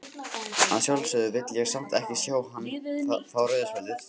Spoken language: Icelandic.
Að sjálfsögðu vill ég samt ekki sjá hann fá rauða spjaldið.